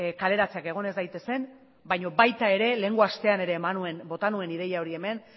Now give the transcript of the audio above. kaleratzeak egon ez daitezen baina baita ere lehengo astean ere bota nuen ideia hori hemen